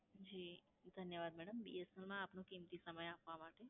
જી ધન્યવાદ madam BSNL માં આપનો કિમતી સમય આપવા માટે.